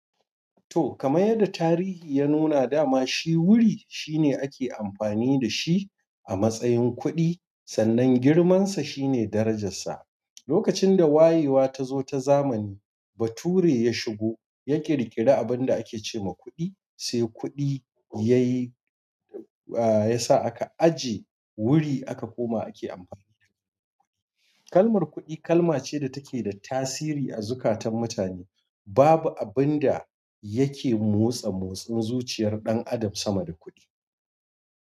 To, kamar yadda tarihi ya nuna dama shi wuri shine ake amfani da shi a matsayin kuɗi, sannan girmansa shine darajarsa. Lokacin da wayewa ta zo ta zamani bature ya shigo ya ƙirƙiri abin da ake ce ma kuɗi sai kuɗi ya yi, a ya sa aka ajiye wuri aka koma ake amfani da shi. Kalmar kuɗi kalma ce da take da tasiri a zukatan mutane. Babu abin da yake motsa motsin zuciyar ɗan adam sama da kuɗi.